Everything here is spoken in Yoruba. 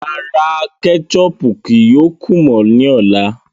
Rárá, kẹ́chọpù kíí yóò kú mọ ni ọ̀lá.